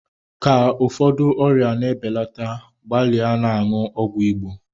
Ka ụfọdụ ọrịa na-ebelata gbalịa na-aṅụ ọgwụ Igbo.